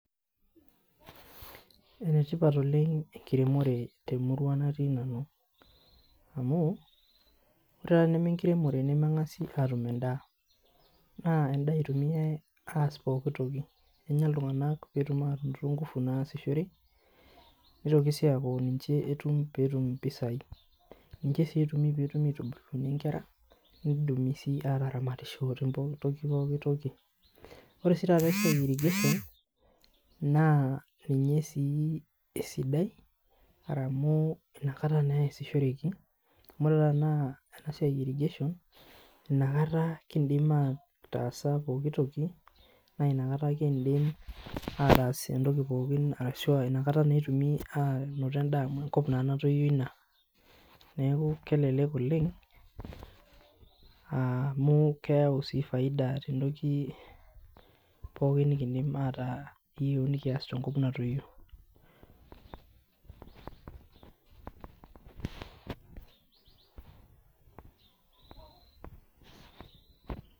Enetipat oleng enkiremore temurua natii nanu amuu ore teneme enkiremore nemeng'asi atum endaa naa endaa eitumiyai aas pooki toki naa ninye etumie iltung'anak inkufu naasishire netitoki sii aaku ninye etum pee etum impisai niche sii etumi pee etumokini aitubulu inkera netumi sii ataramatishore te pooki toki ore sii taata esiai e irrigation naa ninye esidai amu inakata naa easishoreki amu tenakata ena siai e irrigation naa inakata kiindim aatas intokitin arashu inakata naa etumi aataas intokin anaa anoto endaa amu enkop naa natoyio ina neaku kelelek oleng amu keyau sii faida too ntokin pooki nikindim aataa akias tenkop natoyio